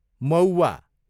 मौव्वा